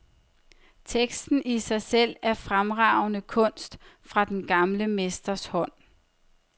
Teksten i sig selv er fremragende kunst fra den gamle mesters hånd.